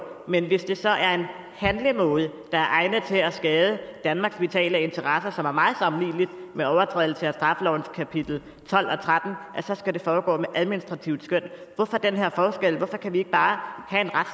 men hvis det så er en handlemåde der er egnet til at skade danmarks vitale interesser som er meget sammenlignelig med overtrædelse af straffelovens kapitel tolv og tretten så skal det foregå med administrativt skøn hvorfor den her forskel hvorfor kan vi ikke bare